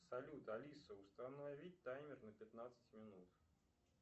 салют алиса установить таймер на пятнадцать минут